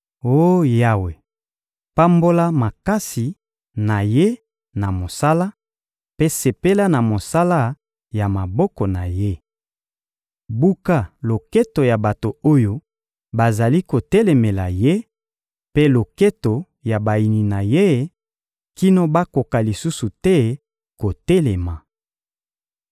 Oh Yawe, pambola makasi na ye na mosala, mpe sepela na mosala ya maboko na ye. Buka loketo ya bato oyo bazali kotelemela ye, mpe loketo ya bayini na ye kino bakoka lisusu te kotelema.»